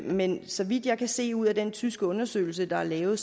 men så vidt jeg kan se ud af den tyske undersøgelse der er lavet